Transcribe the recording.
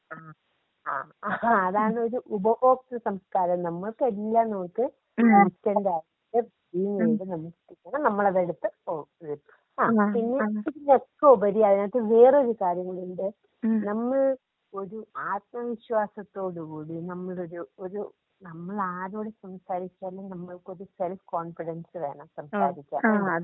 ആ ഹാ അതാണ് ഒരു ഉപഭോക്തൃ സംസ്കാരം നമുക്കെല്ലാം നമുക്ക് ഇൻസ്റ്റന്റ് ആയിട്ട് *നോട്ട്‌ ക്ലിയർ* നമുക്ക് കിട്ടണം നമ്മൾ അത് എടുത്ത് *നോട്ട്‌ ക്ലിയർ* പിന്നെ പിന്നെ ഒക്കെ ഉപരിയായിട്ട് വേറെയൊരു കാര്യം കൂടിണ്ട് നമ്മൾ ഒരു ആത്മവിശ്വാസത്തോട് കൂടി നമ്മളൊരു ഒരു നമ്മൾ ആരോട് സംസാരിച്ചാലും നമുക്കൊരു സെൽഫ് കോൺഫിഡൻസ് വേണം. സംസാരിക്കാൻ.